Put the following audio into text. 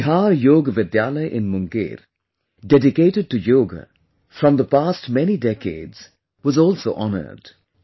The Bihar Yoga Vidyalaya in Munger dedicated to yoga from past many decades was also honoured